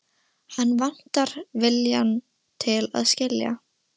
Hann vantar viljann til að skilja.